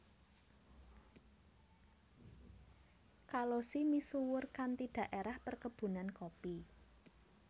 Kalosi misuwur kanthi daerah perkebunan kopi